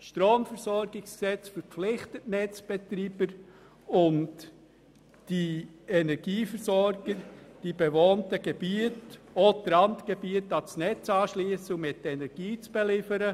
Das Stromversorgungsgesetz verpflichtet die Netzbetreiber, die Energieversorger in den bewohnten Gebieten und auch die Randgebiete ans Netz anzuschliessen und mit Energie zu beliefern.